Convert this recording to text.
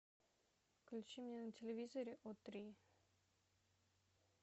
включи мне на телевизоре о три